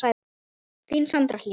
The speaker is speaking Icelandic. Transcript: Þín Sandra Hlín.